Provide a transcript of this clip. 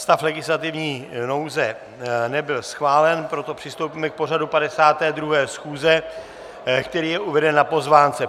Stav legislativní nouze nebyl schválen, proto přistoupíme k pořadu 52. schůze, který je uveden na pozvánce.